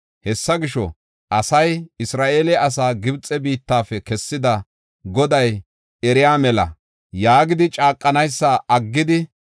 Hessa gisho, “Asay, ‘Isra7eela asaa Gibxe biittafe kessida Goday eriya mela’ yaagidi caaqanaysa aggidi,